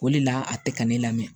O de la a tɛ ka ne lamɛn